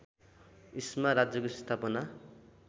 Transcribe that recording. इस्मा राज्यको स्थापना